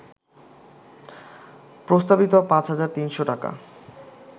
প্রস্তাবিত ৫ হাজার ৩০০ টাকা